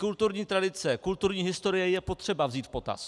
Kulturní tradice, kulturní historii je potřeba vzít v potaz.